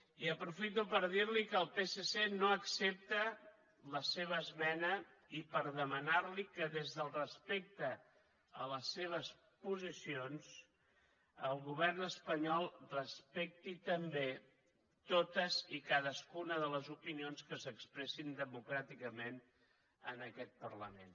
i ho aprofito per dir li que el psc no accepta la seva esmena i per demanar li que des del respecte a les seves posicions el govern espanyol respecti també totes i cadascuna de les opinions que s’expressin democràticament en aquest parlament